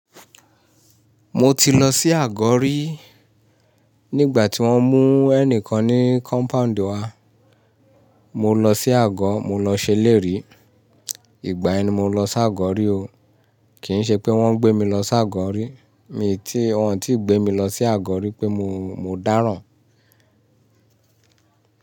Mo ti lọ sí àgọ rí. Nígbà tí wọ́n mú ẹnìkan ní compound wa, mo lọ sí àgọ́, mo lọ ṣelérí. Ìgbà yẹn ni mo lọ s' àgọ̀ rí o. Kì í ṣe pé wọ́n gbé mi lọ s' àgọ̀ rí. Mi i tí, wọ́n ò tíì gbé mi lọ sí àgọ̀ rí pé mo, mo dáràn.